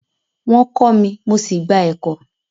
Wọn kọ mí, mo sí gbà ẹ̀kọ.